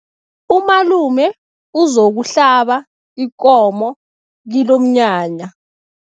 Umalume uzokuhlaba ikomo kilomnyanya.